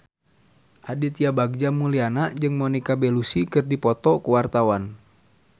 Aditya Bagja Mulyana jeung Monica Belluci keur dipoto ku wartawan